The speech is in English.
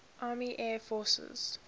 army air forces